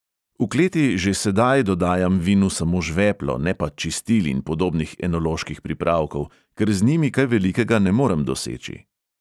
"V kleti že sedaj dodajam vinu samo žveplo, ne pa čistil in podobnih enoloških pripravkov, ker z njimi kaj velikega ne morem doseči."